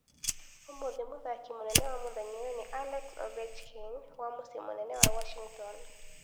Ūmũthĩ mũthaki mũnene wa mũthenya ũyũ nĩ Alex Ovechkin wa mũciĩ mũnene wa Washington.